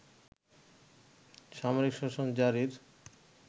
সামরিক শাসন জারির